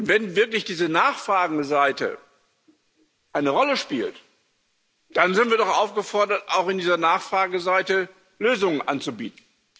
Wenn wirklich diese Nachfrageseite eine Rolle spielt, dann sind wir doch aufgefordert, auch in dieser Nachfrageseite Lösungen anzubieten.